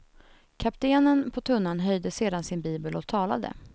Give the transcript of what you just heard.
Kaptenen på tunnan höjde sedan sin bibel och talade.